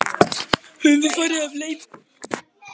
Höfum við farið af leið?